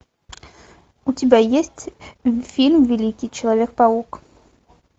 у тебя есть фильм великий человек паук